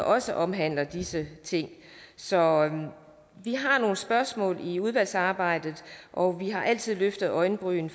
også omhandler disse ting så vi har nogle spørgsmål i udvalgsarbejdet og vi har altid løftede øjenbryn